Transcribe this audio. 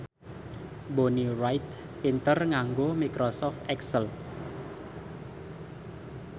Bonnie Wright pinter nganggo microsoft excel